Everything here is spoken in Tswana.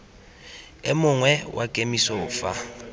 o mongwe wa kemiso fa